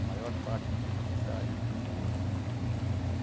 A maior parte do tempo nessa área de limpeza.